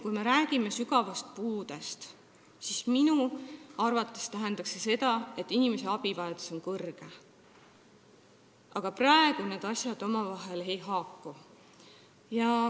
Kui me räägime sügavast puudest, siis minu arvates tähendab see seda, et inimese abivajadus on kõrge, aga praegu need asjad omavahel ei haaku.